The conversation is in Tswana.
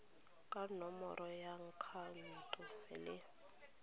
ka nomoro ya akhaonto le